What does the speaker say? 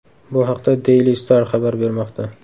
Bu haqda Daily Star xabar bermoqda .